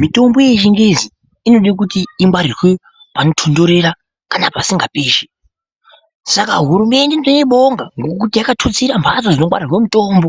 Mitombo yechingezi inoda kuti ingwarirwe panotondorera kana pasinga pishi saka hurumunde ndoibonga ngokuti yakatutsira mbatso dzinongwarirwe mitombo